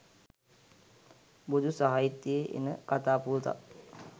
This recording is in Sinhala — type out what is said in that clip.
බොදු සාහිත්‍යයේ එන කතා පුවතක්.